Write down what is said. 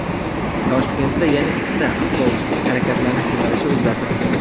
Toshkentda yana ikkita avtobusning harakatlanish yo‘nalishi o‘zgartirildi.